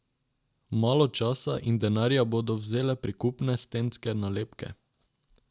Malo časa in denarja bodo vzele prikupne stenske nalepke.